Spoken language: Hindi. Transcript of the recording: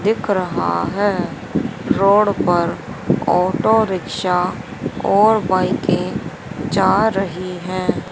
दिख रहा है रोड पर ऑटो रिक्शा और बाईकें जा रही हैं।